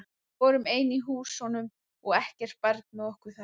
Við vorum ein í húsunum og ekkert barn með okkur þar.